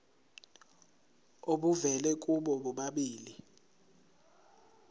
obuvela kubo bobabili